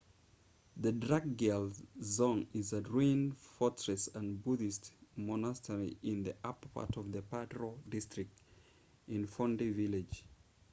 the drukgyal dzong is a ruined fortress and buddhist monastery in the upper part of the paro district in phondey village